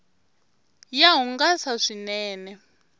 ya hungasa swinene